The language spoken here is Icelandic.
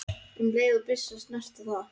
um leið og byssa snertir það.